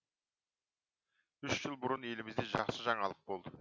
үш жыл бұрын елімізде жақсы жаңалық болды